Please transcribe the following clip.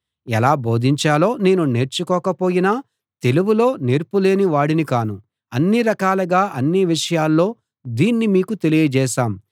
ఎలా బోధించాలో నేను నేర్చుకోక పోయినా తెలివిలో నేర్పులేని వాడిని కాను అన్ని రకాలుగా అన్ని విషయాల్లో దీన్ని మీకు తెలియజేసాం